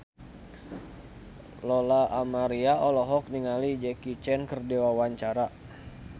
Lola Amaria olohok ningali Jackie Chan keur diwawancara